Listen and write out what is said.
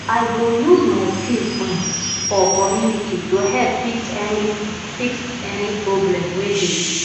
i go use my skills um for community to help fix any fix any problem wey dey